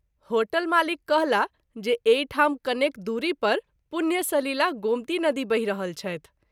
Hotel मालिक कहला जे एहि ठाम कनेक दूरी पर पुण्य सलिला गोमती नदी बहि रहल छथि।